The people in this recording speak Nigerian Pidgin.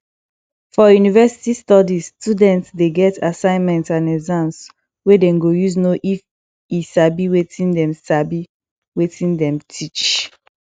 for university studies student de get assignment and exams wey dem go use know if e sabi wetin dem sabi wetin dem teach